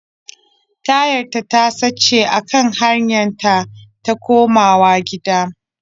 Tayarta ta sace a kan hanyar ta ta komawa gida.